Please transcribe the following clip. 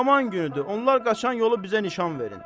Aman günüdür, onlar qaçan yolu bizə nişan verin.